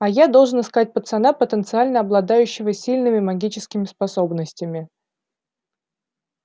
а я должен искать пацана потенциально обладающего сильными магическими способностями